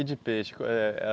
E de peixe? Qual eh